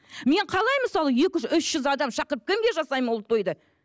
мен қалай мысалы екі жүз үш жүз адам шақырып кімге жасаймын ол тойды